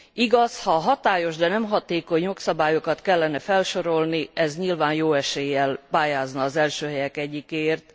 Igaz, ha a hatályos, de nem hatékony jogszabályokat kellene felsorolni, ez nyilván jó eséllyel pályázna az első helyek egyikéért.